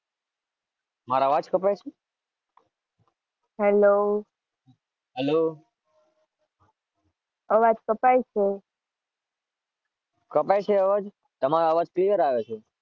મારો અવાજ કપાય છે?